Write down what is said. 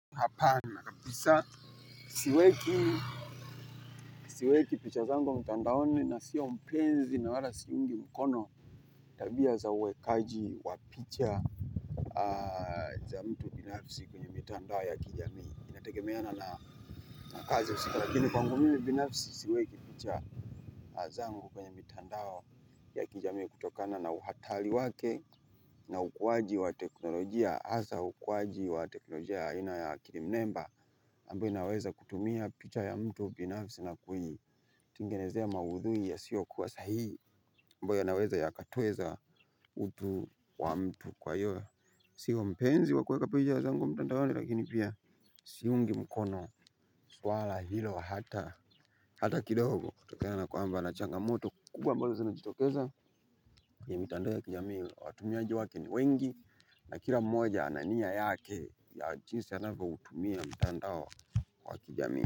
Hapana, siweki picha zangu mtandaoni, na sio mpenzi na wala siungi mkono tabia za uwekaji wa picha za mtu binafsi kwenye mitandao ya kijamii inategemeana na kazi husika lakini kwangu mimi binafisi siweki picha zangu kwenye mitandao ya kijamii kutokana na uhatari wake na ukuwaji wa teknolojia hasa ukuwaji wa teknolojia aina ya kilimnemba ambayo inaweza kutumia picha ya mtu binafsi na kuitengenezea maudhui yasiyokuwa sahihi ambayo yanaweza yakatweza utu wa mtu. Kwa hiyo sio mpenzi wa kuweka picha zangu mtandaoni lakini pia siungi mkono swala hilo hata hata kidogo kutokana nakwamba na changamoto kubwa ambazo zinajitokeza kwenye mitandao ya kijamii watumiaji wake ni wengi. Na kila mmoja ana nia yake ya jinsi anavyoutumia mtandao wa kijamii.